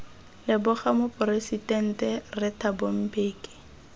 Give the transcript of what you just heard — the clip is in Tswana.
leboga moporesidente rre thabo mbeki